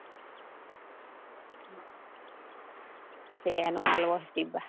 એનો આલવો હે સીવા